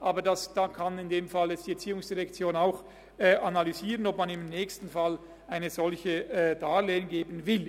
Aber so kann die Erziehungsdirektion nun analysieren, ob man in einem nächsten Fall ein solches Darlehen geben will.